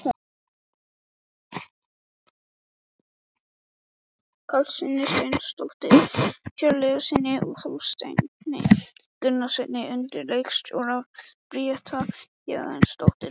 Karlssyni, Steindóri Hjörleifssyni og Þorsteini Gunnarssyni undir leikstjórn Bríetar Héðinsdóttur.